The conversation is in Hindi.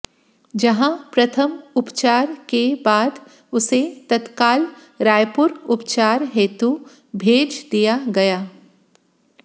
जहां प्रथम उपचार के बाद उसे तत्काल रायपुर उपचार हेतू भेज दिया गया